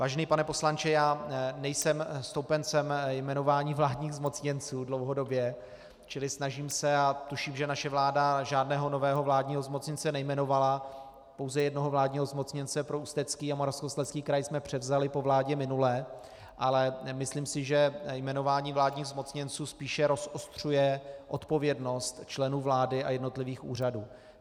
Vážený pane poslanče, já nejsem stoupencem jmenování vládních zmocněnců dlouhodobě, čili snažím se, a tuším, že naše vláda žádného nového vládního zmocněnce nejmenovala, pouze jednoho vládního zmocněnce pro Ústecký a Moravskoslezský kraj jsme převzali po vládě minulé, ale myslím si, že jmenování vládních zmocněnců spíše rozostřuje odpovědnost členů vlády a jednotlivých úřadů.